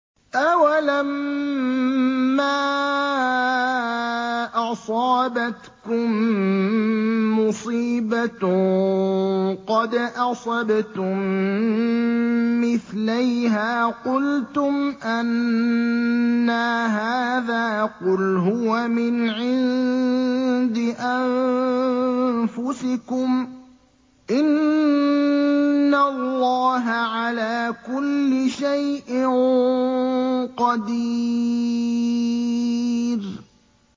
أَوَلَمَّا أَصَابَتْكُم مُّصِيبَةٌ قَدْ أَصَبْتُم مِّثْلَيْهَا قُلْتُمْ أَنَّىٰ هَٰذَا ۖ قُلْ هُوَ مِنْ عِندِ أَنفُسِكُمْ ۗ إِنَّ اللَّهَ عَلَىٰ كُلِّ شَيْءٍ قَدِيرٌ